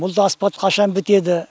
бұл да асфальт қашан бітеді